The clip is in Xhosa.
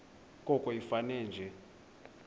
koko ifane nje